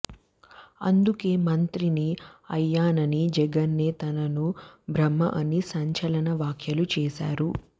అందుకే మంత్రిని అయ్యానని జగనే తనకు బ్రహ్మ అని సంచలన వ్యాఖ్యలు చేశారు